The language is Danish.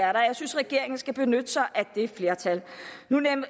er der jeg synes regeringen skal benytte sig af det flertal nu